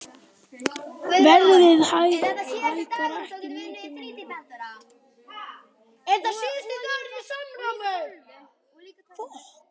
Verðið hækkar ekki mikið meira.